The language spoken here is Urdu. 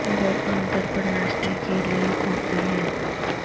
وہ عام طور پر ناشتا کے لئے کافی ہے